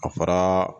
A fara